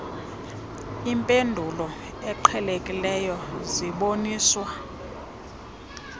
impendulo eqhelekileyo ziboniswa